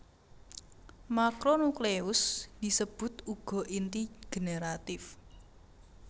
Makronukleus disebut uga inti generatif